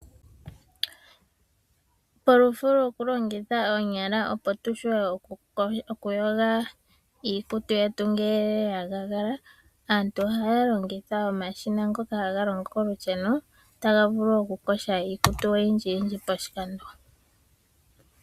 Polufo lwoku longitha oonyala opo tu shuwe okuyoga iikutu yetu ngele ya gaagala aantu ohaya longitha omashina ngoka haga longo kolusheno taga vulu okuyoga iikutu oyindjiyindji poshikando.